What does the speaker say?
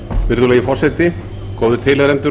virðulegi forseti góðir tilheyrendur